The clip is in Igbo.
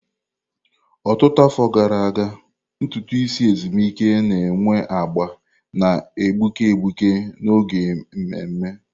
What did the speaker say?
Ọtụtụ afọ gara aga, ntutu isi ezumike na enwe agba na-egbuke egbuke n'oge ememe.